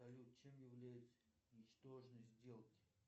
салют чем является ничтожность сделки